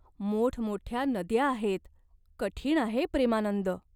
मोठमोठ्या नद्या आहेत. कठीण आहे, प्रेमानंद.